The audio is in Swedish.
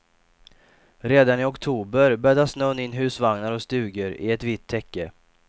Redan i oktober bäddade snön in husvagnar och stugor i ett vitt täcke.